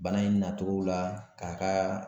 Bana in nacogow la k'a ka